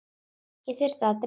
Ég þurfti að drífa mig.